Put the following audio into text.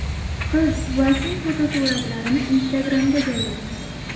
Qiz buvasining fotosuratlarini Instagram’ga joylagan.